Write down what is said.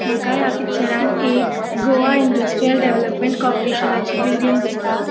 माका या पिक्चरान एक गोवा इन्डस्ट्रीअल डेवलपमेंट को ऑपरेशनची बिल्डिंग दिसता.